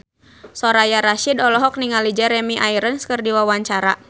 Soraya Rasyid olohok ningali Jeremy Irons keur diwawancara